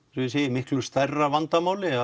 miklu stærra vandamáli